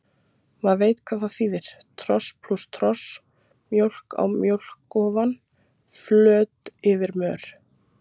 Maður veit hvað það þýðir, tros plús tros, mjólk á mjólk ofan, flot yfir mör.